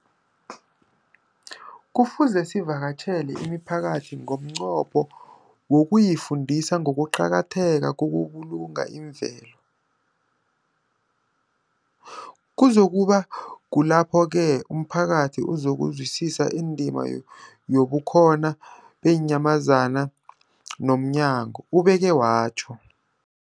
Kufuze sivakatjhele imiphakathi ngomnqopho wokuyifundisa ngokuqakatheka kokubulunga imvelo. Kuzoku ba kulapho-ke umphakathi uzokuzwisisa indima yobukhona beenyamazana zommango, ubeke watjho.